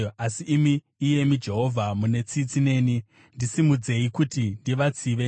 Asi imi, iyemi Jehovha, mune tsitsi neni, ndisimudzei, kuti ndivatsive.